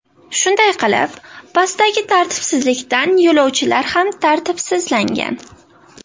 Shunday qilib, pastdagi tartibsizlikdan yo‘lovchilar ham tartibsizlashgan.